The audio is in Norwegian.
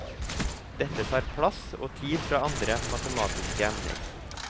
Dette tar plass og tid fra andre matematiske emner.